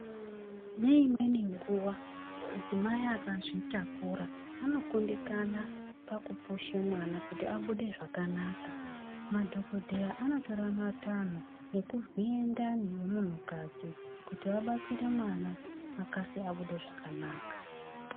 Neimweni nguva mudzimai akazvitakura anokundikana pakupusha mwana kuti abude zvakanaka. Madhogodheya anotora matanho ekuvhire ndani yemuntukadzi kuti vabatsire mwana akasire abude zvakanaka.